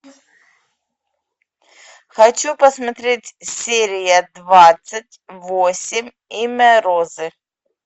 хочу посмотреть серия двадцать восемь имя розы